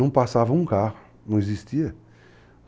Não passava um carro, não existia.